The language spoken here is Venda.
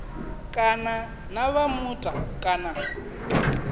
kana na vha muta kana